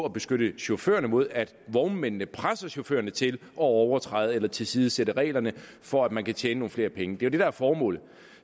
at beskytte chaufførerne mod at vognmændene presser chaufførerne til at overtræde eller tilsidesætte reglerne for at man kan tjene nogle flere penge det er det der er formålet